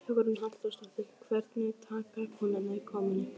Hugrún Halldórsdóttir: Hvernig taka kúnnarnir komunni?